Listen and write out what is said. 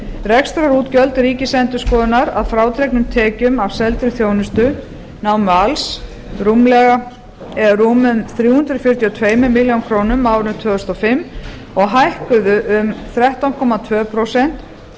rekstrarútgjöld ríkisendurskoðunar að frádregnum tekjum af seldri þjónustu námu alls rúmum þrjú hundruð fjörutíu og tvær milljónir króna á árinu tvö þúsund og fimm og hækkuðu um þrettán komma tvö prósent